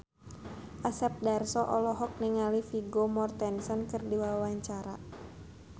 Asep Darso olohok ningali Vigo Mortensen keur diwawancara